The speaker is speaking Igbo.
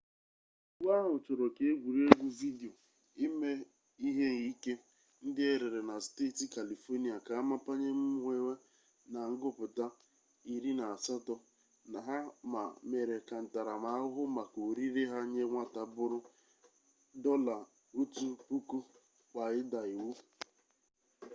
iwu ahụ chọrọ ka egwuregwu vidio ime ihe ike ndị e rere na steeti california ka a mapanye mmewe na-agụpụta 18 na ha ma mere ka ntaramahụhụ maka orire ha nye nwata bụrụ $1000 kwa ịda iwu